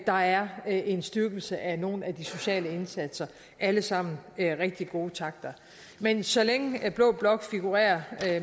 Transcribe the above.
der er en en styrkelse af nogle af de sociale indsatser alle sammen rigtig gode takter men så længe blå blok figurerer